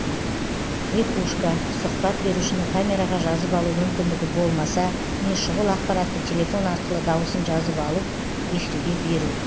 хрипушка сұхбат берушіні камераға жазып алу мүмкіндігі болмаса не шұғыл ақпаратты телефон арқылы дауысын жазып алып эфирге беру